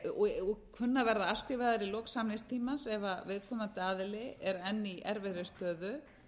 og kunna að verða afskrifaðar í lok samningstímans ef viðkomandi aðili er enn í erfiðri stöðu